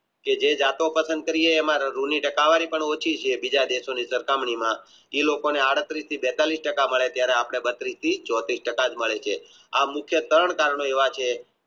કે જે જતો પસંદ કરીયે એમાં ઋ ની ટકાવારી પણ ઓછી છે બીજ દેશોની સરખામણી માં એ લોકો ને બીજી બેતાલીશ ટાકા મળે ત્યરે બત્રીશ થી ચોત્રીશ ટકા જ મળે છે